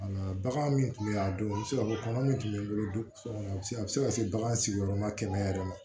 Bagan min tun bɛ yen a don a bɛ se ka fɔ kɔnɔ min tun bɛ n bolo so kɔnɔ a bɛ se a bɛ se ka se bagan sigiyɔrɔma kɛmɛ yɛrɛ ma